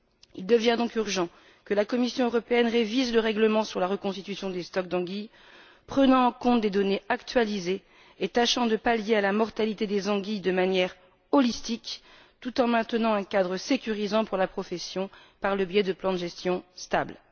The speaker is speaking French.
Il devient donc urgent que la Commission européenne révise le règlement sur la reconstitution des stocks d'anguilles, en prenant en compte des données actualisées et en tâchant de pallier la mortalité des anguilles de manière holistique, tout en maintenant un cadre sécurisant pour la profession, par le biais de plans de gestion stables.